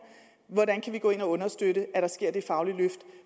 hvordan kan vi gå ind og understøtte at der sker det faglige løft